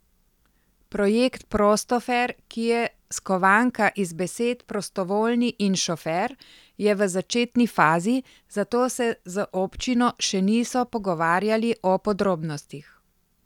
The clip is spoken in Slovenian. Projekt Prostofer, ki je skovanka iz besed prostovoljni in šofer, je v začetni fazi, zato se z občino še niso pogovarjali o podrobnostih.